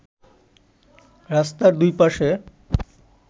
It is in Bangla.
রাস্তার দুই পাশে